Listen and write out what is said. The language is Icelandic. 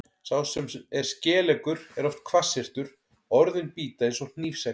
Sá sem er skeleggur er oft hvassyrtur, orðin bíta eins og hnífsegg.